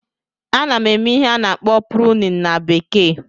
Ana m eme ihe a na-akpọ "pruning"na bekee